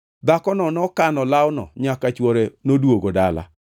Dhakono nokano lawno nyaka chwore noduogo dala.